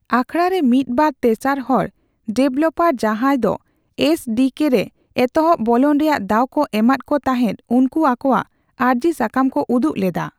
ᱟᱠᱷᱚᱲᱟ ᱨᱮ ᱢᱤᱫ ᱵᱟᱨ ᱛᱮᱥᱟᱨ ᱦᱚᱲ ᱰᱮᱵᱷᱮᱞᱯᱟᱨ ᱡᱟᱦᱟᱸᱭ ᱫᱚ ᱮᱥᱹᱰᱤᱹᱠᱮᱹᱼ ᱨᱮ ᱮᱛᱚᱦᱚᱵ ᱵᱚᱞᱚᱱ ᱨᱮᱭᱟᱜ ᱫᱟᱣ ᱠᱚ ᱮᱢᱟᱫ ᱠᱚ ᱛᱟᱦᱮᱫ ᱩᱱᱠᱩ ᱟᱠᱚᱣᱟᱜ ᱟᱨᱡᱤ ᱥᱟᱠᱟᱢ ᱠᱚ ᱩᱫᱩᱜ ᱞᱮᱫᱟ ᱾